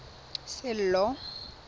sello